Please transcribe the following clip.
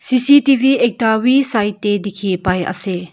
C_C_T_V ekta we side tae dikhipaiase.